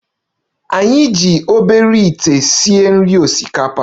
Anyị na-eji obere ite esi nri osikapa